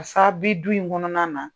pasa a bi du in kɔnɔna na.